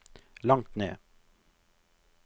langt ned